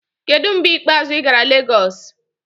Kedu mgbe ikpeazụ ị gara Lagos?